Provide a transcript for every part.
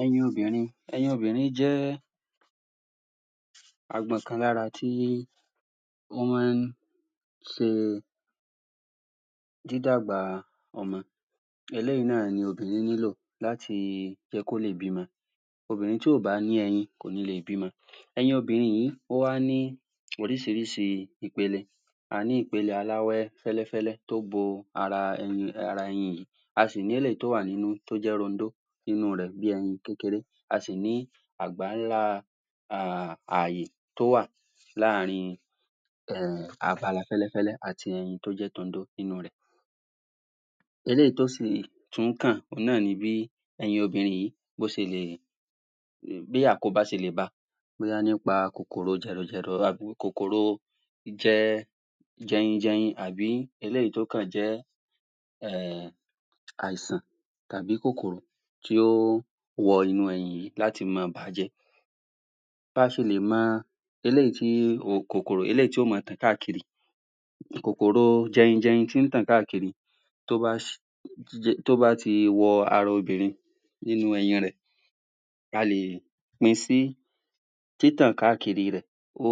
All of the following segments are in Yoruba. Ẹyin obìnrin, ẹyin obìnrin jẹ́ agbọ̀n kan lára tí ó máa ń ṣe dídàgbà ọmọ eléyìí náà ni obìnrin nílò láti jẹ́ kí ó lè bímọ obìnrin tí ò bá ní eyin, kò ní lè bímọ. Ẹyin obìnrin yìí, ó wá ní oríṣíìríṣíì ipele a ní ipele aláwẹ́ fẹ́lẹ́fẹ́lẹ́ tó bo ara ẹyin yẹn a sì ní eléyìí tó wà nínú, tó jẹ́ rọndó inú rẹ̀ bí ẹyin kékeré, a sì ní àgbà ńlá um àyè tó wà láàrin um àt'ara fẹ́lẹ́fẹ́lẹ́ àti ẹyin tó jẹ́ tọndó tó wà nínú rẹ̀ eléyìí tó sì tún kàn, òun náà ni bí ẹyin obìnrin yìí, bó ṣe lè bí àkóbá ṣe lè ba bóyá nípa kòkòrò jẹrọjẹrọ, àbi kòkòrò jẹ́ jẹyinjẹyin, àbí èyí tó kàn jẹ́ um àìsàn tàbí kòkòrò kí ó wọ inú ẹyin yìí láti máa bàájẹ́. Bá ṣe lè máa eléyìí tí, kòkòrò tí yó máa tàn káàkiri kòkòrò jẹyinjẹyin tó ń tàn káàkiri tó bá tó bá ti wọ ara obìnrin nínú ẹyin rẹ̀ a lè pin sí títàn káàkiri rẹ̀ ó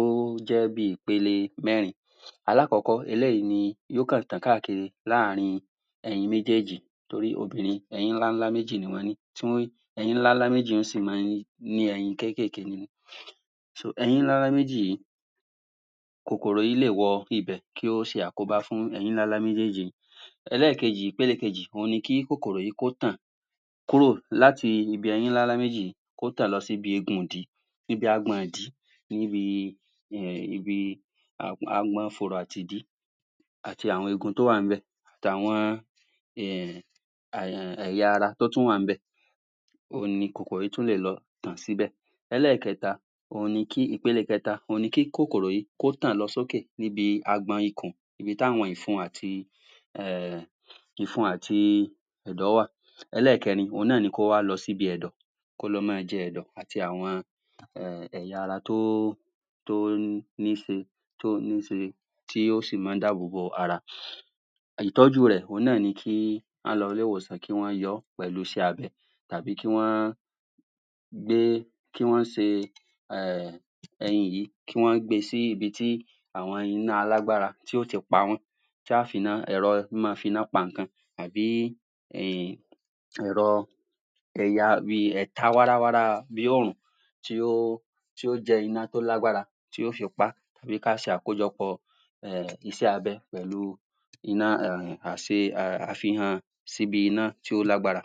jẹ́ bi ipele mẹ́rin, alákọ́kọ́, eléyìí ni yó kàn tàn káàkiri láàrin ẹyin méjèjì torí obìnrin, ẹyin ńlá ńlá méjì ni wọ́n ní, ẹyin ńlá ńlá méjì yó sì máa ní ẹyin kékèké nínú ẹyin ńlá ńlá méjì yìí kòkòrò yìí le wọ ibẹ̀, kí ó ṣe àkóbá fún ẹyin ńlá ńlá méjèjì ẹlékejì, òun ni kí kòkòrò yìí ó tàn káàkiri kúrò nínú àwọn ẹyin ńlá ńlá méjì yìí kó tàn lọ sí bi eegun ìdí ibi agbọn ìdí níbi um ibi agbọn fùrọ̀ àti ìdí àti àwọn eegun tó wà níbẹ̀ àwọn um ẹ̀yà ara tó wà níbẹ̀ òun ni kòkòrò yìì tún lè lọ tàn síbẹ̀. Ẹlẹ́kẹta, ipele kẹta, òun ni kí kọ̀kọ̀rò yìí kó tàn lọ sókè níbi agbọn ikùn, ibi tí àwọn ìfun àti um ìfun àti ẹ̀dọ̀ wà. Ẹlẹ́kẹ́rin, òun náà ni kó wá lọ síbi ẹ̀dọ̀ kó lọ máa jẹ ẹ̀dọ̀ àti àwọn um ẹ̀yà ara tó tó ń níṣe tó ń níṣe tí ó sì máa ń dábòbò ara ìtọ́jú rẹ̀ òun náà ni kí á lọ ilé-ìwòsàn, kí wọ́n yọ ọ́ pẹ̀lú iṣẹ́ abẹ àbí kí wọ́n kí wọ́n ṣe um ẹyin yìí kí wọ́n gbe sí ibi tí àwọn ẹyin máa lágbára, tí yó ti pa wọ́n kí a fi ẹ̀rọ máa finá pa ǹnkan àbí um ẹ̀rọ tí ó tí ó jẹ́ iná tí ó ní agbára tí ó fi pá bí i kí á ṣe akójọpọ̀ um iṣẹ́ abẹ pẹ̀lu síbi iná tí ó lágbára.